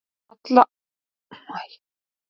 Allar girnast ár í sjá.